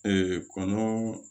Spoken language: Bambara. kɔnɔn